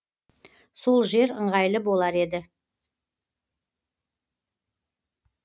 сол жер ыңғайлы болар еді